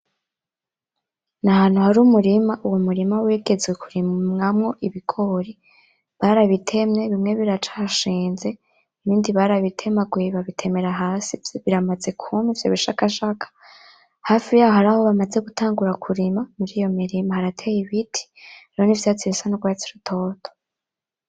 Nahantu hari umurima, Uwo murima wigeze kurimamwo ibigori , barabitemye bimwe biracashinze ibindi barabitemaguye babitemera hasi biramaze kwuma icyo bishakashaka , hafi yaho haraho bamaze gutangura kurima. Muriyo mirima harateye ibiti, mwo n’ivyatsi bisa n’urwatsi rutoto.